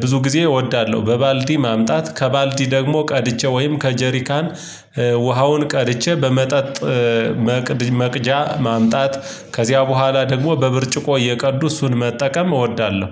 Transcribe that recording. ብዙ ጊዜ እወዳለሁ። በባልዲ ማምጣት ከባልዲ ደግሞ ቀድቼ ወይም ከጀሪካን ውሃውን ቀልቼ በመጠጥ መቅጃ ማምጣት ከዚያ በኋላ ደግሞ በብርጭቆ እየቀዱ እሱን መጠቀም እወዳለሁ።